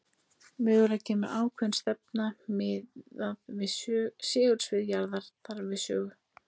Mögulega kemur ákveðin stefna miðað við segulsvið jarðar þar við sögu.